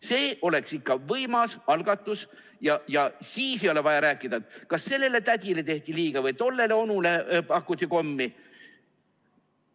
See oleks ikka võimas algatus ja siis ei ole vaja rääkida, kas sellele tädile tehti liiga või tollele onule pakuti kommi.